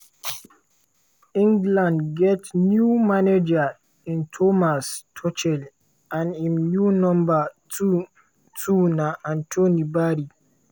england get new manager in thomas tuchel and im new number two two na anthony barry.